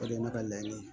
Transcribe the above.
O de ye ne ka laɲini